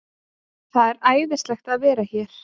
Það er æðislegt að vera hér.